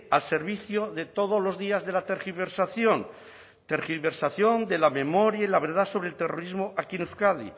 al servicio de todos los días de la tergiversación tergiversación de la memoria y la verdad sobre el terrorismo aquí en euskadi